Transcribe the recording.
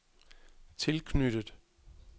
tilknyttet